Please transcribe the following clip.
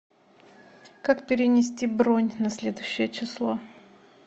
как перенести бронь на следующее число